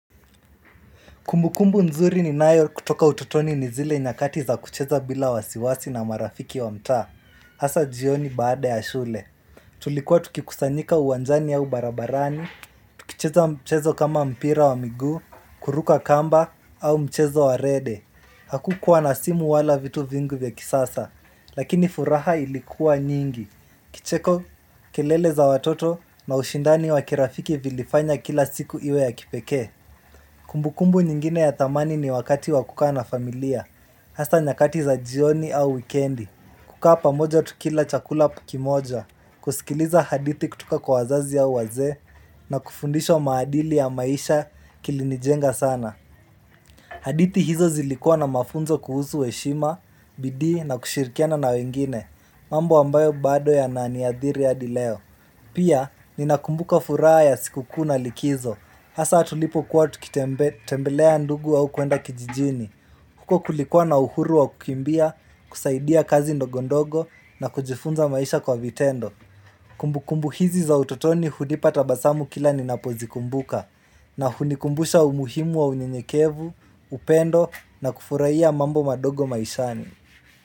Kumbukumbu nzuri ninayo kutoka utotoni ni zile nyakati za kucheza bila wasiwasi na marafiki wa mtaa Asa jioni baada ya shule. Tulikuwa tukikusanyika uwanjani au barabarani, tukicheza mchezo kama mpira wa miguu, kuruka kamba, au mchezo wa rede. Hakukuwa na simu wala vitu vingu vya kisasa, lakini furaha ilikuwa nyingi. Kicheko kelele za watoto na ushindani wa kirafiki vilifanya kila siku iwe ya kipekee Kumbukumbu nyingine ya thamani ni wakati wa kukaa na familia Hasa nyakati za jioni au wikendi kukaa pamoja tukila chakula pu kimoja kusikiliza hadithi kutuka kwa wazazi ya wazee na kufundishwa maadili ya maisha kilinijenga sana hadithi hizo zilikuwa na mafunzo kuhusu heshima bidii na kushirikiana na wengine mambo ambayo bado yananiadhiri hadi leo Pia ninakumbuka furaa ya sikukuu na likizo hasa tulipokuwa tukitembelea ndugu au kuenda kijijini huko kulikuwa na uhuru wa kukimbia, kusaidia kazi ndogondogo na kujifunza maisha kwa vitendo Kumbukumbu hizi za utotoni hudipa tabasamu kila ninapozikumbuka na hunikumbusha umuhimu wa unyenyekevu, upendo na kufurahiya mambo madogo maishani.